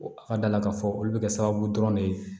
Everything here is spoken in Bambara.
A ka d'a la k'a fɔ olu bɛ kɛ sababu dɔrɔn de ye